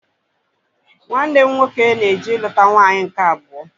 Nwanne m nwoke na-eje iluta nwaanyị nke abụọ